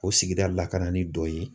O sigida la ka na ni dɔ ye